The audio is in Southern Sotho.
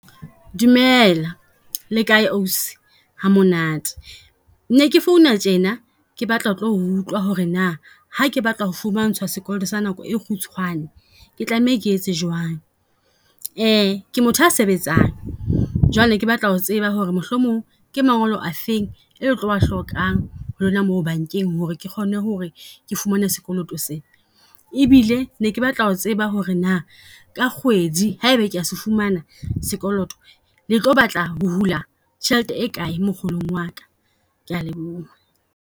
Dumela le kae ausi, ha monate. Ke ke phone-a tjena, ke batla ho tlo utlwa ho re na ha ke batla ho fumantshwa sekoloto sa nako e kgutshwane. Ke tlameha ke etse jwang? Ke motho a sebetsang, jwale ke batla ho tseba ho re mohlomong ke mangolo a feng e le tlo a hlokang ho lona moo bankeng ho re ke kgone ho re ke fumane sekoloto sena. E bile ne ke batla ho tseba ho re na ka kgwedi ha ebe ke ya se fumana sekoloto, le tlo batla ho hula tjhelete e kae mokgolong wa ka. Ke a leboha.